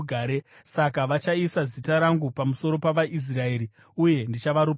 “Saka vachaisa zita rangu pamusoro pavaIsraeri, uye ndichavaropafadza.”